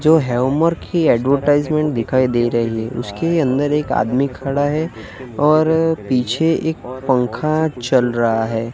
जो हीउमर की एडवर्टाइजमेंट दिखाई दे रही है उसके अंदर एक आदमी खड़ा है और पीछे एक पंखा चल रहा है।